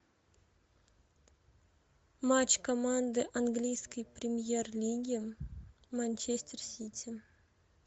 матч команды английской премьер лиги манчестер сити